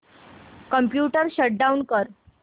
computer shut down कर